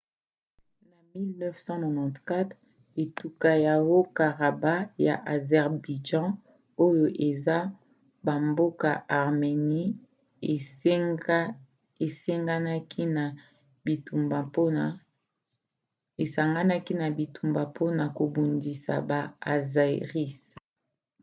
na 1994 etuka ya haut-karabakh ya azerbaïdjan oyo eza ya bamboka arménie esanganaki na bitumba mpona kobundisa baazéris